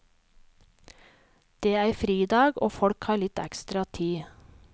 Det er fridag og folk har litt ekstra tid.